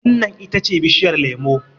wannan ita ce bishiyar lemo!